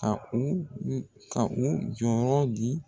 Ka u ka u jɔyɔrɔ di